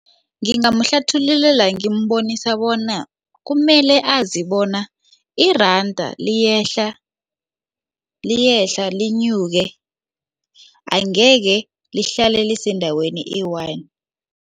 Ngingamhlathulula ngimbonisa bona kumele azi bona iranda liyehla liyehla linyuke angekhe lihlale lise endaweni eyi-one.